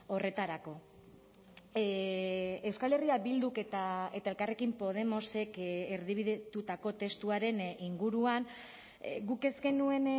horretarako euskal herria bilduk eta elkarrekin podemosek erdibidetutako testuaren inguruan guk ez genuen